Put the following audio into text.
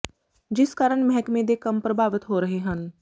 ਜਿਸ ਕਾਰਨ ਮਹਿਕਮੇ ਦੇ ਕੰਮ ਪ੍ਰਭਾਵਿਤ ਹੋ ਰਹੇ ਹਨ